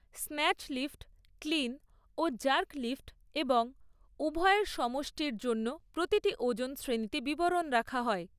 Snatch lift, clean ও jerk lift এবং উভয়ের সমষ্টির জন্য প্রতিটি ওজন শ্রেণিতে বিবরণ রাখা হয়।